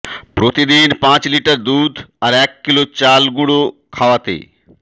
প্রতিদিন পাঁচ লিটার দুধ আর এক কিলো চালগুঁড়ো খাওয়াতে